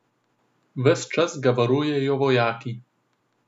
Ves čas ga varujejo vojaki.